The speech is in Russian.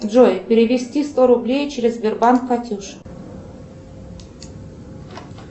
джой перевести сто рублей через сбербанк катюше